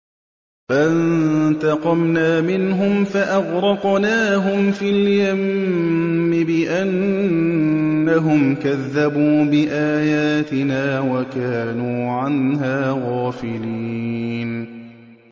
فَانتَقَمْنَا مِنْهُمْ فَأَغْرَقْنَاهُمْ فِي الْيَمِّ بِأَنَّهُمْ كَذَّبُوا بِآيَاتِنَا وَكَانُوا عَنْهَا غَافِلِينَ